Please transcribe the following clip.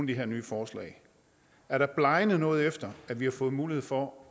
de her nye forslag er blegnet noget efter vi har fået mulighed for